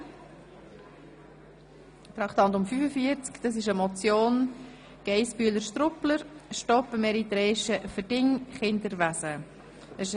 Es handelt sich um eine Motion von Grossrätin Geissbühler-Strupler mit dem Titel «Stopp dem eritreischen Verdingkinderwesen – Stopp dem blühenden Schleppergeschäft».